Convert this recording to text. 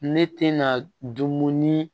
Ne tɛna dumuni